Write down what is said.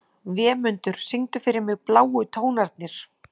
Vémundur, syngdu fyrir mig „Bláu tónarnir“.